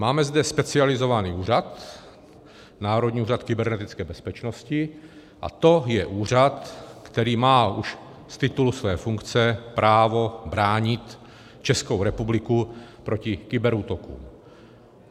Máme zde specializovaný úřad - Národní úřad kybernetické bezpečnosti, a to je úřad, který má už z titulu své funkce právo bránit Českou republiku proti kyberútokům.